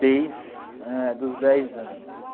desde eh dos dez anos.